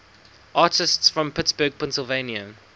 artists from pittsburgh pennsylvania